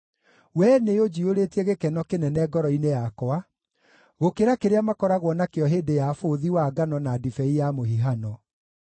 Wee nĩũnjiyũrĩtie gĩkeno kĩnene ngoro-inĩ yakwa, gũkĩra kĩrĩa makoragwo nakĩo hĩndĩ ya bũthi wa ngano na ndibei ya mũhihano.